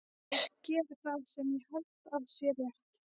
Ég geri það sem ég held að sé rétt.